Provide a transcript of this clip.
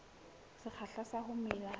sekgahla sa ho mela ha